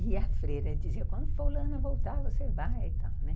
E a freira dizia, quando fulana voltar, você vai e tal, né?